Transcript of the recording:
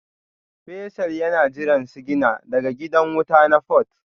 Faisal yana jiran sigina daga gidan wuta na Port